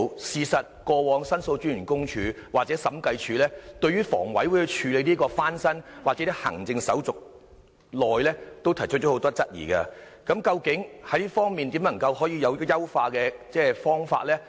事實上，過往申訴專員公署或審計署對於房委會處理單位翻新或行政手續時間長，均提出很多質疑，究竟這方面有甚麼優化方法？